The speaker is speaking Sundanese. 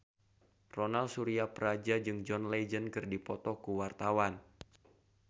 Ronal Surapradja jeung John Legend keur dipoto ku wartawan